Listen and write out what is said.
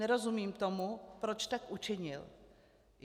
Nerozumím tomu, proč tak učinil.